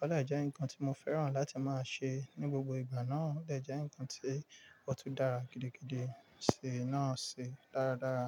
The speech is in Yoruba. Ó dẹ̀ jẹ́ ǹkan tí mo fẹ́ràn láti máa ṣe ní gbogbo ìgbà náà, ó dẹ̀ jẹ́ ǹkan tí ó tún dára gidigidi sí náà sì dáradára.